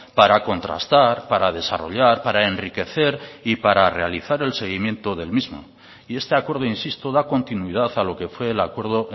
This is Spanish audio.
para contrastar para desarrollar para enriquecer y para realizar el seguimiento del mismo y este acuerdo insisto da continuidad a lo que fue el acuerdo